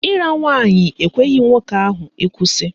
Ịra nwaanyị ekweghị nwoke ahụ ịkwụsị